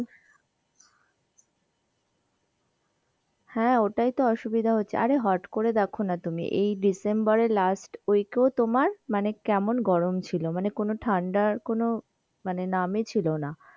হ্যাঁ ওটাই তো অসুবিধা হচ্ছে, আরে হট করে দেখো না তুমি এই december এর last week এ তোমার মানে কেমন গরম ছিল, মানে কোনো ঠান্ডার কোনো মানে নামই ছিল না.